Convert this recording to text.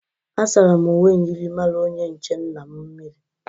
Asara m uwe myịrịmara onye nche nna m miri.